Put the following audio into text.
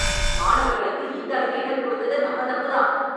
மாணவர்களுக்கு இந்த அளவு இடம் கொடுத்தது நம்ம தப்பு தான்.